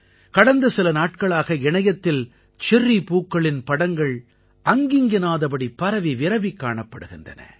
கடந்த சில நாட்களாக இணையத்தில் செர்ரி பூக்களின் படங்கள் அங்கிங்கெனாதபடி பரவி விரவிக் காணப்படுகின்றன